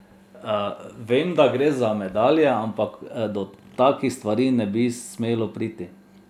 Vem, da gre za medalje, ampak do takih stvari ne bi smelo priti.